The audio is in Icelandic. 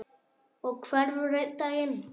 Og hverfur einn daginn.